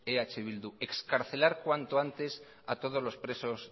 eh bildu excarcelar cuanto antes a todos los presos